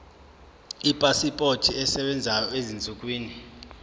ipasipoti esebenzayo ezinsukwini